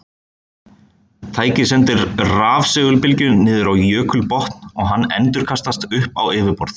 Tækið sendir rafsegulbylgju niður á jökulbotn og hún endurkastast upp á yfirborð.